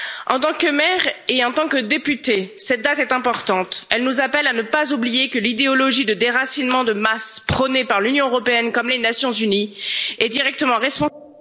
En tant que maire et en tant que députée, cette date est importante elle nous appelle à ne pas oublier que l'idéologie de déracinement de masse prônée par l'Union européenne et les Nations unies est directement responsable...